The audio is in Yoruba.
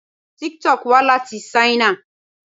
Tik-Tok wá láti Ṣáínà.